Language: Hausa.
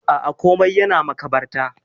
Aa, komai yana makabarta.